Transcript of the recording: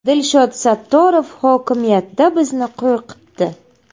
Dilshod Sattorov hokimiyatda bizni qo‘rqitdi.